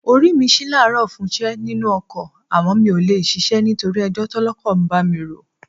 Orí mi ṣí láàárọ̀ fúnṣẹ́ nínú ọkọ̀ àmọ́ mi ò lè ṣíṣe nítorí ẹjọ́ tọ́lọ́kọ̀ bá mi rò.